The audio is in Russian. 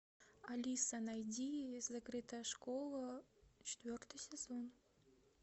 алиса найди закрытая школа четвертый сезон